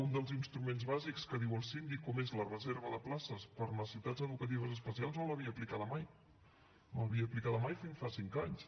un dels instruments bàsics que diu el síndic com és la reserva de places per a necessitats educatives especials no l’havia aplicat mai no l’havia aplicat mai fins fa cinc anys